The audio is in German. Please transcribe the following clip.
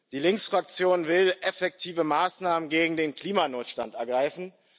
Die Linksfraktion will effektive Maßnahmen gegen den Klimanotstand ergreifen.